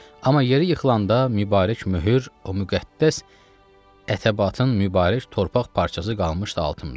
Amma yeri yıxılanda mübarək möhür o müqəddəs ətəbatın mübarək torpaq parçası qalmışdı altımda.